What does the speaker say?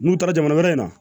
N'u taara jamana wɛrɛ in na